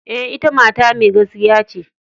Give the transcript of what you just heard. E,ita mata mai gaskiya ce.